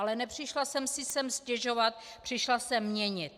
Ale nepřišla jsem si sem stěžovat, přišla jsem měnit.